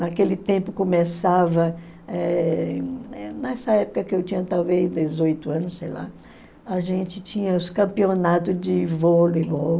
Naquele tempo começava, eh nessa época que eu tinha talvez dezoito anos, sei lá, a gente tinha os campeonatos de vôleibol.